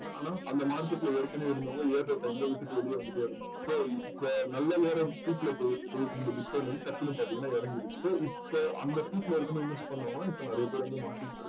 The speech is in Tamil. ஆனா அந்த market ல ஏற்கனவே இருந்தவங்க ஏற்ற time ல விட்டுட்டு வெளிய வந்துட்டே இருந்தாங்க so இப்போ நல்ல ஒரு speed ல போயிட்டு இருக்கு டக்குனு பாத்திங்கன்னா ஏறங்கிடுச்சு so இப்போ அந்த ல இருக்கப்போ inverse பண்ணவங்க இப்ப நறைய பேர் வந்து மாத்திகிட்டங்க